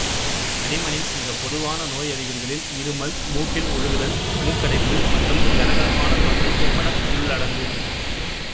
தடிமனின் மிகப்பொதுவான நோயறிகுறிகளில் இருமல் மூக்கில் ஒழுகுதல் மூக்கடைப்பு மற்றும் கரகரப்பான தொண்டை என்பன உள்ளடங்கும்